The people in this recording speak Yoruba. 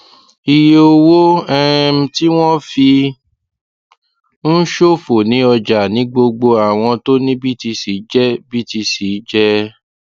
iye owó um tí wọn fi ń ṣòfò ní ọjà ní gbogbo àwọn tó ní btc jẹ btc jẹ um